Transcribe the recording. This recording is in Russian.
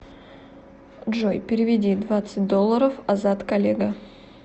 джой переведи двадцать долларов азат коллега